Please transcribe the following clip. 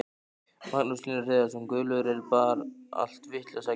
Magnús Hlynur Hreiðarsson: Guðlaugur, er bar allt vitlaust að gera?